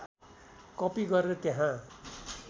कपि गरेर त्यहाँ